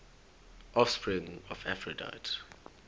offspring of aphrodite